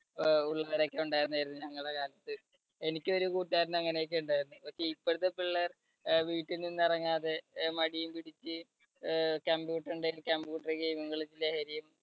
ആഹ് ഉള്ളവരൊക്കെ ഉണ്ടായിരുന്നു ഏത് ഞങ്ങളുടെ കാലത്ത്. എനിക്കൊരു കൂട്ടുകാരൻ അങ്ങനെയൊക്കെ ഉണ്ടായിരുന്നു. പക്ഷേ ഇപ്പഴത്തെ പിള്ളേര് അഹ് വീട്ടിൽ നിന്ന് ഇറങ്ങാതെ അഹ് മടിയും പിടിച്ച് ആഹ് computer ന്‍ടെ ഒക്കെ computer game ഉം ലഹരിയും